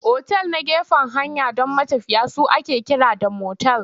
Otal na gefen hanya don matafiya su ake kira da motel.